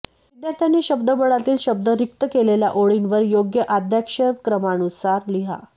विद्यार्थ्यांनी शब्दबळातील शब्द रिक्त केलेल्या ओळींवर योग्य आद्याक्षरक्रमानुसार लिहा